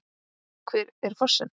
Hver er fossinn?